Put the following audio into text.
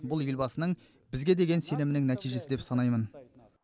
бұл елбасының бізге деген сенімінің нәтижесі деп санаймын